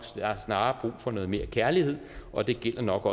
snarere har for noget mere kærlighed og det gælder nok